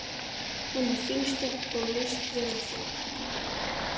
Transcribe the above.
Hún er fín stelpa og líst vel á þig.